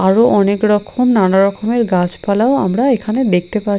আরও অনেকরকম নানা রকমের গাছপালাও আমরা এখানে দেখতে পা--